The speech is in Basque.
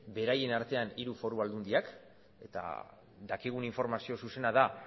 beraien artean hiru foru aldundiek eta dakigun informazio zuzena da